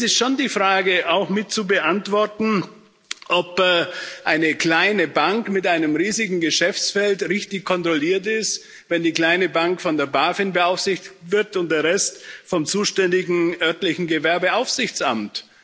Es ist schon die Frage auch mit zu beantworten, ob eine kleine Bank mit einem riesigen Geschäftsfeld richtig kontrolliert ist, wenn die kleine Bank von der BaFin beaufsichtigt wird und der Rest vom zuständigen örtlichen Gewerbeaufsichtsamt.